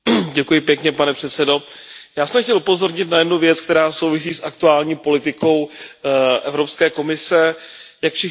Pane předsedající, já jsem chtěl upozornit na jednu věc, která souvisí s aktuální politikou Evropské komise. Jak všichni víme,